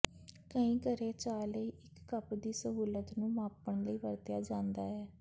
ਕਈ ਘਰੇ ਚਾਹ ਲਈ ਇੱਕ ਕੱਪ ਦੀ ਸਹੂਲਤ ਨੂੰ ਮਾਪਣ ਲਈ ਵਰਤਿਆ ਜਾਦਾ ਹੈ